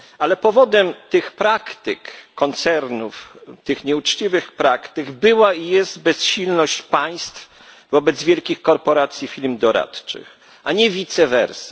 Ale powodem tych praktyk koncernów, tych nieuczciwych praktyk, była i jest bezsilność państw wobec wielkich korporacji i firm doradczych, a nie vice versa.